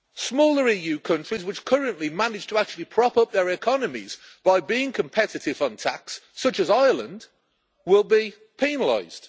Smaller EU countries which currently manage to actually prop up their economies by being competitive on tax, such as Ireland, will be penalised.